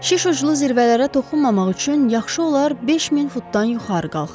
Şiş uclu zirvələrə toxunmamaq üçün yaxşı olar 5000 futdan yuxarı qalxaq.